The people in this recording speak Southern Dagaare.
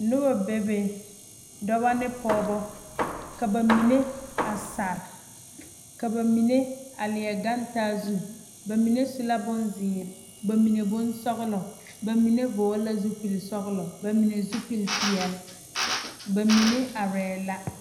Noba be be dɔba ne pɔgeba ka ba mine a sara ka ba mine a leɛ gaŋ taa zu ba mine su la bonzeere ba mine bonsɔgelɔ ba mine vɔgele la zupili sɔgelɔ ba mine zupili peɛle ba mine arɛɛ la